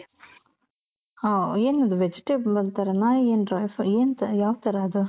ಹ ಏನದು vegetable ಅಂತಾರೆನ ಏನ್ dry ಏನ್ ತ ಯಾವ್ ತರ ಅದು ?